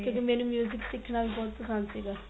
ਤੇ ਮੈਨੂੰ ਸਿਖਣਾ ਵੀ ਬਹੁਤ ਪਸੰਦ ਸੀਗਾ